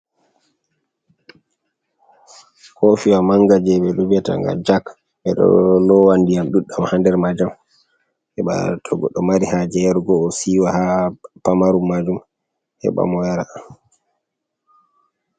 Kofiwa manga je beɗo vi'ata ga jak. Be ɗo lowandiyam ɗuɗɗam ha nɗer majam. Heba to goɗɗo mari haje yarugo o siwa ha pamarum majum heba mo yaraa.